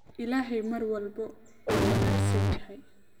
Ilaahay mar walba waa wanaagsan yahay